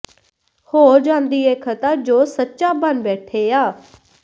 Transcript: ਹੋ ਜਾਂਦੀ ਏ ਖ਼ਤਾ ਜੋ ਸੱਚਾ ਬਣ ਬੈਠੇ ਆ